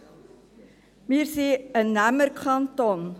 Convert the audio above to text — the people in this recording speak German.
Erstens: Wir sind ein Nehmerkanton.